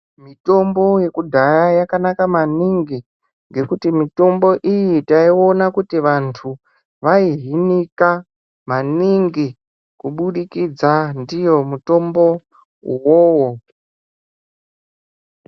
Mitombo yekudhaya yakanaka maningi ngekuti mitombo iyi taiona kuti vantu vaihinika maningi kubudikidza ndiwo mutombo uwowo.